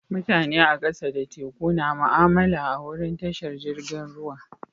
Mutane a kasa da teku na mu'amala a'wurin tashar jirigin ruwa.